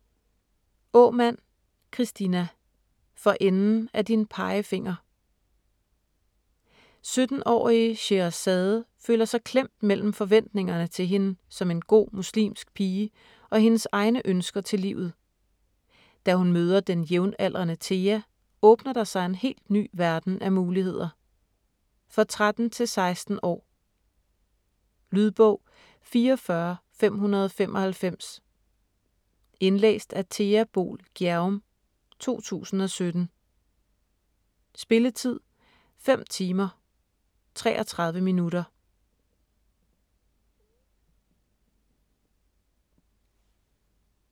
Aamand, Kristina: For enden af din pegefinger 17-årige Sheherazade føler sig klemt mellem forventningerne til hende som en god muslimsk pige og hendes egne ønsker til livet. Da hun møder den jævnaldrende Thea åbner der sig en helt ny verden af muligheder. For 13-16 år. Lydbog 44595 Indlæst af Thea Boel Gjerum, 2017. Spilletid: 5 timer, 33 minutter.